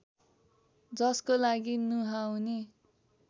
जसको लागि नुहाउने